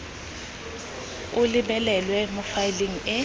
o lebelelwe mo faeleng e